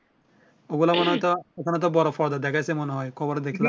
ওগুলো তো মনে হয় ওখানে তো বড় পর্দায় দেখায়ছে মনে কভারে দেখ